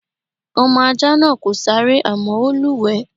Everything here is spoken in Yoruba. Ọmọ ajá náà kò sáré àmọ́ ó lúwẹ̀ẹ́.